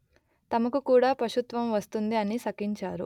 తమకు కూడా పశుత్వము వస్తుంది అని శపించారు